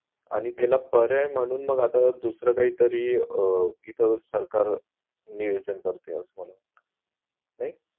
आणि त्याला पर्याय म्हणून मग आत्ता दुसरं काही तरी अह इथं सरकार नियोजन करताय असं मला वाटतंय